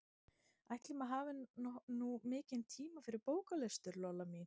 Ætli maður hafi nú mikinn tíma fyrir bóklestur, Lolla mín.